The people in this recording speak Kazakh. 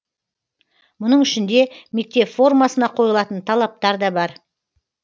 мұның ішінде мектеп формасына қойылатын талаптар да бар